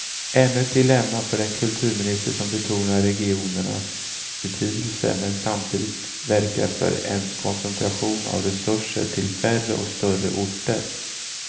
Ännu ett dilemma för en kulturminister som betonar regionernas betydelse men samtidigt verkar för en koncentration av resurserna till färre och större orter.